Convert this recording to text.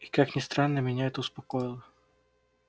и как ни странно меня это успокоило